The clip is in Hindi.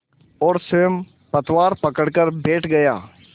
और स्वयं पतवार पकड़कर बैठ गया